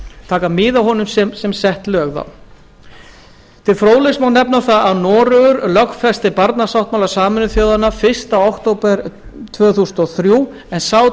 taka mið af honum sem sett lög þá til fróðleiks má nefna það að noregur lögfesti barnasáttmála sameinuðu þjóðanna fyrsta október árið tvö þúsund og þrjú en sá